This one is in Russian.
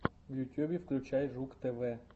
в ютьюбе включай жук тв